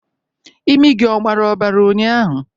imi gị ọ gbara obara ụnyahụ?